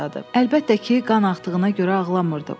Əlbəttə ki, qan axdığına görə ağlamırdı.